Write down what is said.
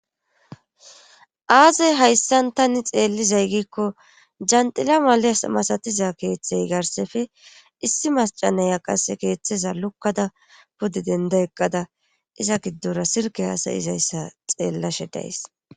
Aze hayssan tani xeellizay gikko janxila maleyas masatiza keeththey garsseppee issi maacca naya qasse keeththeza lukkada puddi denda eqqada iza giddora silke hasayizayssa xeellashe days.